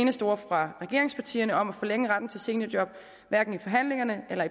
eneste ord fra regeringspartierne om at forlænge retten til seniorjob hverken i forhandlingerne eller